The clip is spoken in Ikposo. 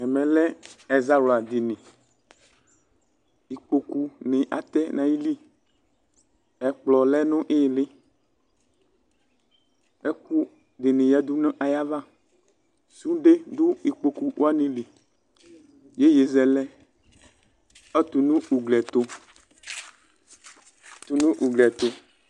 Ɛmɛ lɛ ɛzawladini Ikpoku ni atɛ nayili Ɛkplɔ lɛ nʋ ili Ɛkʋ dini yadʋ nayava Sude dʋ ikpoku wani li Iyeyezɛlɛ ɔtʋ nʋ ugli ɛtʋ, ɔtʋ nʋ ugli ɛtʋ